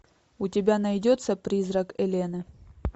у тебя найдется призрак элены